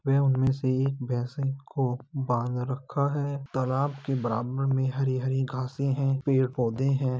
वह उनमें से एक भैंस को बांध रखा है। तालाब के बराबर में हरी-हरी घाँसें हैं। पेड़-पौध हैं।